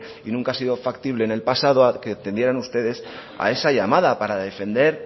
y nunca ha sido factible en el pasado a que atendieron a esa llamada para defender